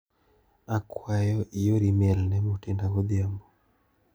Akwayo ior imel ne Mutinda godhiambo.